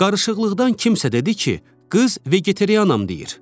Qarışıqlıqdan kimsə dedi ki, qız vegetarianam deyir.